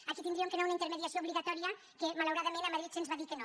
aquí hauríem d’anar a una intermediació obligatòria que malauradament a madrid se’ns va dir que no